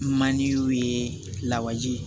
Maninkaw ye lawaji ye